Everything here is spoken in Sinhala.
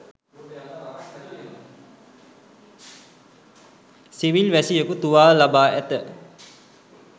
සිවිල් වැසියකු තුවාල ලබා ඇත